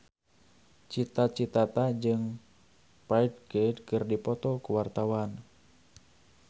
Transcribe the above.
Cita Citata jeung Ferdge keur dipoto ku wartawan